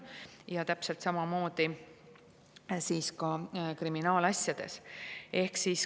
Ja täpselt samamoodi on kriminaalasjades.